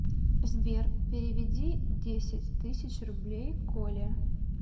сбер переведи десять тысяч рублей коле